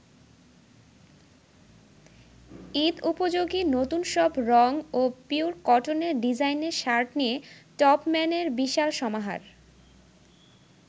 ঈদ-উপযোগী নতুন সব রং ও পিওর কটনের ডিজাইনের শার্ট নিয়ে টপম্যানের বিশাল সমাহার।